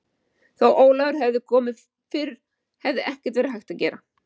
Þó Ólafur hefði komið fyrr hefði ekkert verið hægt að gera.